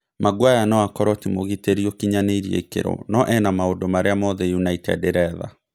Maguere no akorwo ti mũgitĩri ũkinyanĩirie ikĩro no ena maũndũ marĩa mothe United ĩretha.